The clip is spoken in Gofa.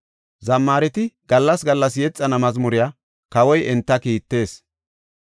Zammaareti gallas gallas yexana mazmuriya kawoy enta kiittees.